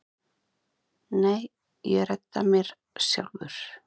Nei, ég redda mér sjálfur.